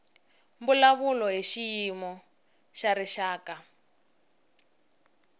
mbulavulo hi xiyimo xa rixaka